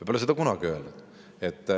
Me pole seda kunagi öelnud.